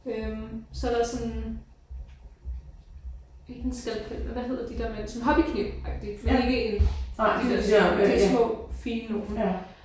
Øh så er der sådan ikke en skalpel men hvad hedder de der man sådan hobbyknivagtig ikke en af de der de små fine nogle